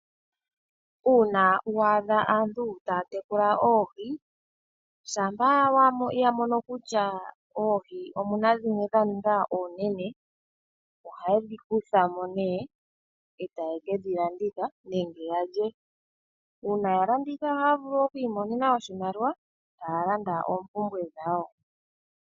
Uuna wa adha aantu taya tekula oohi shampa ya mono kutya oohi omuna dhimwe dha ninga oonene, oha yedhi kuthamo nee etaye kedhi landitha nenge ya lye. Uuna ya landitha ohaya vulu oku imonena oshimaliwa, taya landa oompumbwe dhawo.